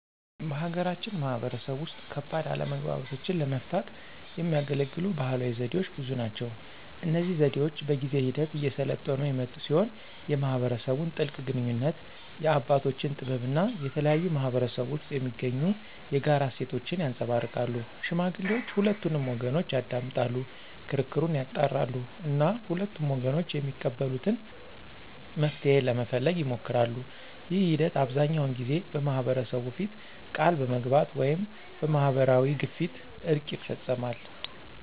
በሀገራችን ማህበረሰብ ውስጥ ከባድ አለመግባባቶችን ለመፍታት የሚያገለግሉ ባህላዊ ዘዴዎች ብዙ ናቸው። እነዚህ ዘዴዎች በጊዜ ሂደት እየሰለጠኑ የመጡ ሲሆን የማህበረሰቡን ጥልቅ ግንኙነት፣ የአባቶችን ጥበብ እና የተለያዩ ማህበረሰቦች ውስጥ የሚገኙ የጋራ እሴቶችን ያንፀባርቃሉ። ሽማግሌዎች ሁለቱንም ወገኖች ያዳምጣሉ፣ ክርክሩን ያጣራሉ እና ሁለቱም ወገኖች የሚቀበሉትን መፍትሄ ለመፈለግ ይሞክራሉ። ይህ ሂደት አብዛኛውን ጊዜ በማህበረሰቡ ፊት ቃል በመግባት ወይም በማህበራዊ ግፊት እርቅ ይፈፀማል።